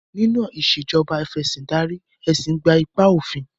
Nínú Ìṣèjọba Af'ẹ̀sìndarí, ẹ̀sìn gbé ipa òfin